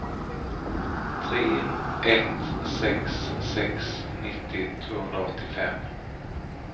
tre ett sex sex nittio tvåhundraåttiofem